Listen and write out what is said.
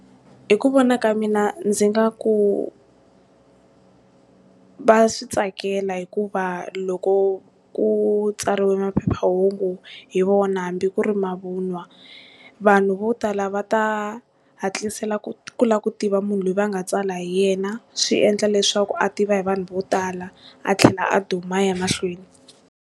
Hi ku vona ka mina ndzi nga ku va switsakela hikuva loko ku tsariwe phephahungu hi vona hambi ku ri mavun'wa, vanhu vo tala va ta hatlisela ku ku la ku tiva munhu loyi va nga tsala hi yena swi endla leswaku a tiva hi vanhu vo tala a tlhela a duma a ya mahlweni.